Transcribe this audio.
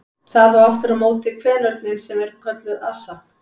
Það á aftur á móti kvenörninn sem kölluð er assa.